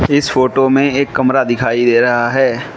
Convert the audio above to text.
इस फोटो में एक कमरा दिखाई दे रहा है।